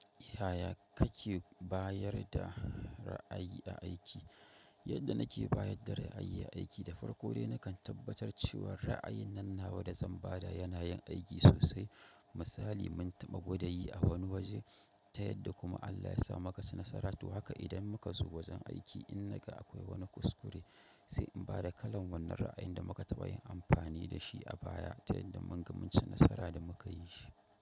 Ya ya kake bayar da ra'ayi a aiki? Yadda nake bayar da ra'ayi a aiki, da farko dai nakan tabbatar cewa ra'ayin nan nawa da zan ba da yana yin aiki sosai. Misali, mun taɓa gwada yi a wani waje, ta yadda kuma Allah ya sa muka ci nasara. To haka idan muka zo wajen aiki in na ga akwai wani kuskure, sai in ba da kalan wannan ra'ayin da muka taɓa yin amfani da shi a baya ta yadda mun ga mun ci nasara idan muka yi shi.